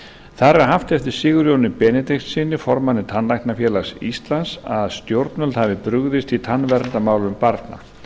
þar er haft eftir sigurjóni benediktssyni formanni tannlæknafélags íslands að stjórnvöld hafi brugðist í tannverndarmálum barna